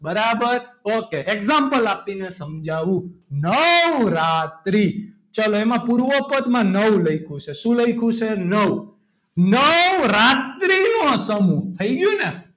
બરાબર ok example આપીને સમજાવું નવરાત્રી ચલો એમાં પૂર્વ પદમાં નવ લખ્યું છે શું લખ્યું છે નવ નવરાત્રી નો સમૂહ થઈ ગયું ને.